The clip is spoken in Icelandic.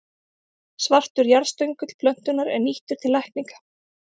Svartur jarðstöngull plöntunnar er nýttur til lækninga.